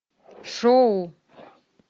шоу